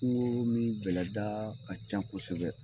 Kungo min bɛlɛda ka ca kosɛbɛ